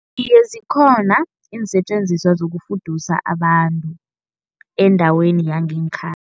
Iye zikhona iinsetjenziswa zokufudusa abantu, endaweni yangekhaya.